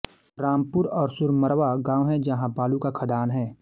रामपुर और सुरमरवा गांव है जहाँ बालू का खादान है